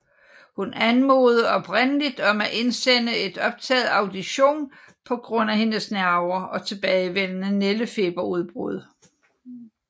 Hun anmodede oprindeligt om at indsende en optaget audition på grund af hendes nerver og tilbagevendende nældefeberudbrud